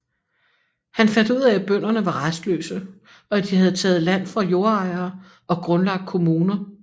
Han fandt ud af at bønderne var rastløse og at de havde taget land fra jordejere og grundlagt kommuner